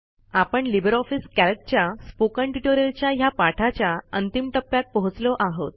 आपण LibreOffice कॅल्कच्या spoken ट्युटोरियलच्या हया पाठाच्या अंतिम टप्प्यात पोहोचलो आहोत